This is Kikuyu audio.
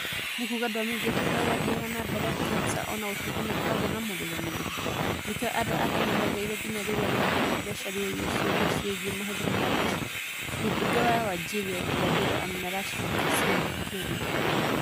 "Nĩ kuuga ndwamenyithĩtuo ũrĩa gwathiaga na mbere Kemsa o na gũtuĩka nĩ ũkoragwo na mũrũgamĩrĩri, nĩkĩo andũ a Kenya meetereire nginya rĩrĩa rũhonge rwa mbeca rwooririe ciũria cĩĩgĩ mahũthĩro ma mbeca? Mũmbunge wa Wajir ya irathĩro Amin Rashid Kassim akĩũria.